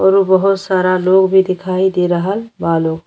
और उ बहुत सारा लोग भी दिखाई दे रहल बा लोग।